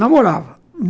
Namorava.